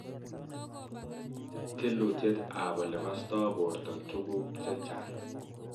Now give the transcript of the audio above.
Tilutyeet ap ole kastoi borto tuguk chechang